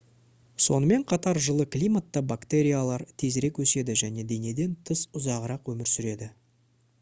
сонымен қатар жылы климатта бактериялар тезірек өседі және денеден тыс ұзағырақ өмір сүреді